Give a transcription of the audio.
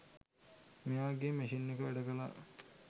මෙයාගේ මැෂින් එක වැඩකළා